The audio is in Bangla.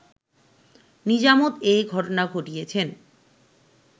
নিজামত এ ঘটনা ঘটিয়েছেন